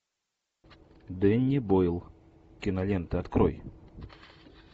дэнни бойл кинолента открой